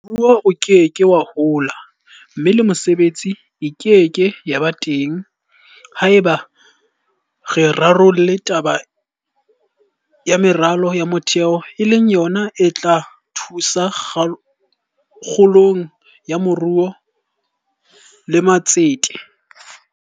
Moruo o ke ke wa hola mme le mesebetsi e ke ke ya ba teng haeba re sa rarolle taba ya meralo ya motheo e leng yona e tla thusa kgolong ya moruo le matsete.